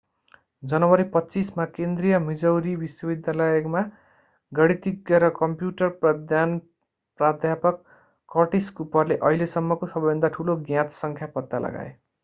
जनवरी 25 मा केन्द्रिय मिजौरी विश्वविद्यालयमा गणितज्ञ र कम्प्युटर विज्ञान प्राध्यापक कर्टिस कुपरले अहिलेसम्मको सबैभन्दा ठूलो ज्ञात सङ्ख्या पत्ता लगाए